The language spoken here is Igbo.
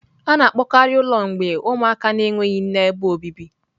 A na-akpọkarị ụlọ mgbei ụmụaka na-enweghị nne ebe obibi.